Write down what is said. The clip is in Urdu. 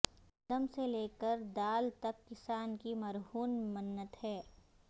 گندم سے لے کر دال تک کسان کی مرہون منت ہے